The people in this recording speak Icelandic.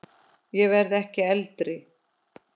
Ég verð ekki eldri.